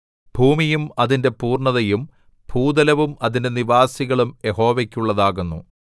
ഭൂമിയും അതിന്റെ പൂർണ്ണതയും ഭൂതലവും അതിലെ നിവാസികളും യഹോവയ്ക്കുള്ളതാകുന്നു